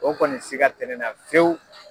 O kɔni siga tɛnɛn na fiyewu.